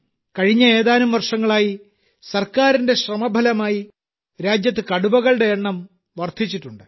കഴിഞ്ഞ ഏതാനും വർഷങ്ങളായി സർക്കാരിന്റെ ശ്രമഫലമായി രാജ്യത്ത് കടുവകളുടെ എണ്ണം വർധിച്ചിട്ടുണ്ട്